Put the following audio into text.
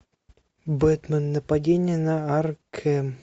бэтмен нападение на аркхэм